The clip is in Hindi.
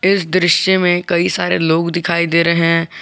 इस दृश्य में कई सारे लोग दिखाई दे रहे हैं।